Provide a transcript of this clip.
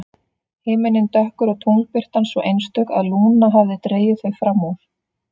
Himinninn dökkur og tunglbirtan svo einstök að Lúna hafði dregið þau fram úr.